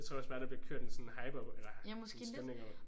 Jeg tror også bare der bliver kørt en sådan hype op eller en stemning op